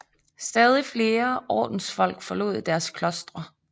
Stadig flere ordensfolk forlod deres klostre